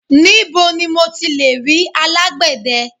Níbo ni mo ti lè rí alágbè de?